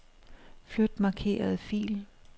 Flyt markerede fil.